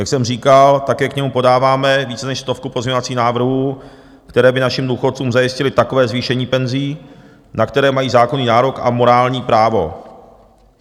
Jak jsem říkal, také k němu podáváme více než stovku pozměňovacích návrhů, které by našim důchodcům zajistily takové zvýšení penzí, na které mají zákonný nárok a morální právo.